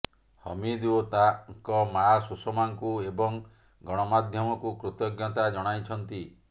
ହମିଦ ଓ ତାଙ୍କ ମା ସୁଷମାଙ୍କୁ ଏବଂ ଗଣମାଧ୍ୟମକୁ କୃତଜ୍ଞତା ଜଣାଇଛନ୍ତି